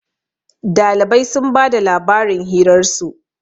Dalibai sun ba da labarin hirarsu